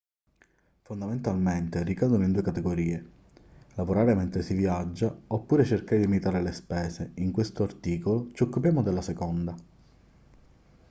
fondamentalmente ricadono in due categorie lavorare mentre si viaggia oppure cercare di limitare le spese in questo articolo ci occupiamo della seconda